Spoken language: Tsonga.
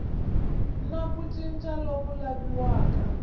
na ku cinca loku laviwaka